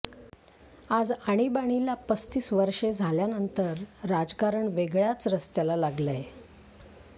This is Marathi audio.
आज आणीबाणीला पस्तीस वर्षे झाल्यानंतर राजकारण वेगळ्याच रस्त्याला लागलय